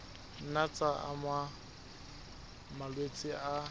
nna tsa ama malwetse a